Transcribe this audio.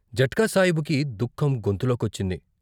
జట్కా సాయిబుకి దుఃఖం గొంతులో కొచ్చింది.